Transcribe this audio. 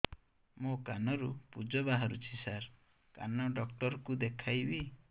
ମୋ କାନରୁ ପୁଜ ବାହାରୁଛି ସାର କାନ ଡକ୍ଟର କୁ ଦେଖାଇବି